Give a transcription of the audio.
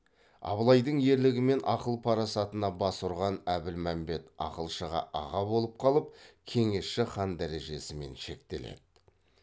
абылайдың ерлігі мен ақыл парасатына бас ұрған әбілмәмбет ақылшыға аға болып қалып кеңесші хан дәрежесімен шектеледі